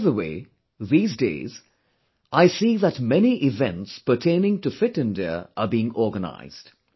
By the way, these days, I see that many events pertaining to 'Fit India' are being organised